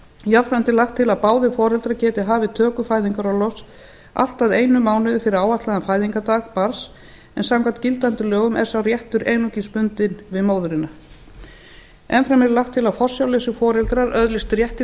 jafnframt er lagt til að báðir foreldrar geti hafið töku fæðingarorlofs allt að einum mánuði fyrir áætlaðan fæðingardag barns en samkvæmt gildandi lögum er sá réttur einungis bundinn við móðurina enn fremur er lagt til að forsjárlausir foreldrar öðlist rétt til